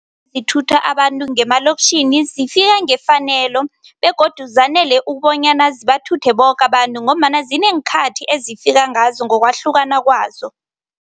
Ezithutha abantu ngemalokitjhini zifika ngefanelo begodu zanele ukubonyana zibathuthe boke abantu ngombana zinengi ikhathi ezifika ngazo ngokwahlukana kwazo.